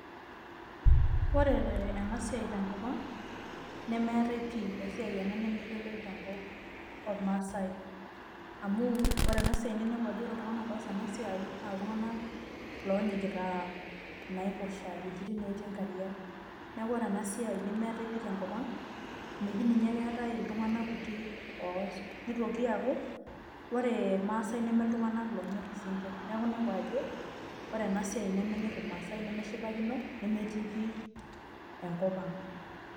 Ore enasiai tenkop ang, nemeetae pi, esiai ena nemeyioloi tenkop ormaasai. Amu, ore enasiai ninepu ajo ore iltung'anak oas enasiai, na iltung'anak lonyikita naiposha, wuejiting netii inkariak. Neeku ore enasiai nemeetae pi tenkop ang, meji ninye keetae iltung'anak otii oas. Nitoki aku, ore irmaasai neme iltung'anak lonyor isinkirr. Neeku inepu ajo, ore enasiai nemenyor irmaasai, nemeshipakino, nemetii pi enkop ang'.